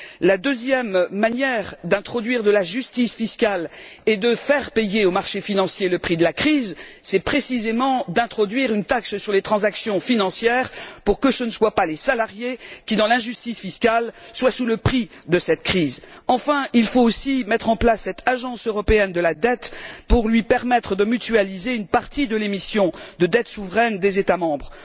La deuxième manière d'introduire de la justice fiscale et de faire payer au marché financier le prix de la crise, c'est précisément d'introduire une taxe sur les transactions financières pour que ce ne soient pas les salariés qui, dans l'injustice fiscale, paient le prix de cette crise. Enfin, il faut aussi mettre en place cette Agence européenne de la dette pour lui permettre de mutualiser une partie de l'émission de dette souveraine des États membres.